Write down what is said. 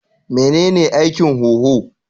Menene aikin huhu?